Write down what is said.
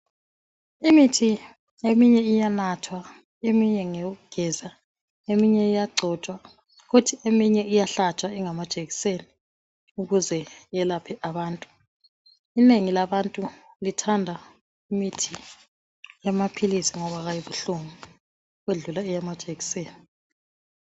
Imithi eminye iyanathwa, eminye ngeyokugeza eminye iyagcotshwa kuthi eminye iyahlatshwa ingama jekiseni ukuze yelaphe abantu. Inengi labantu lithanda imithi yamaphilisi ngoba kayibuhlungu ukwedlula eyamajekiseni.